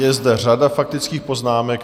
Je zde řada faktických poznámek.